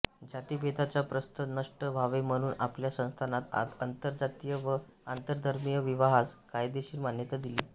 जातिभेदाचे प्रस्थ नष्ट व्हावे म्हणून आपल्या संस्थानात आंतरजातीय व आंतरधर्मीय विवाहास कायदेशर मान्यता दिली